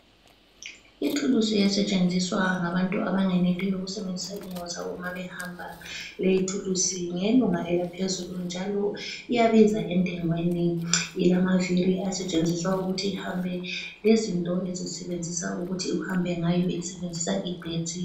Ithulusi esetshenziswa ngabantu abangeneliyo ukusebenzisa inyawo zabo nxa behamba. Leyithulusi ngeyelunga elaphezulu njalo iyabiza entengweni, ilamaviri asetshenziswa ukuthi ihambe lezinto ezisebenzisa ukuthi uhambe ngayo isebenzisa igetsi.